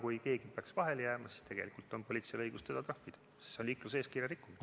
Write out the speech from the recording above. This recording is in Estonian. Kui keegi peaks vahele jääma, siis on politseil õigus teda trahvida, sest see on liikluseeskirja rikkumine.